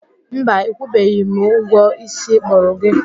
Mba, ịkwụbeghị m ụgwọ isi akpụrụ gị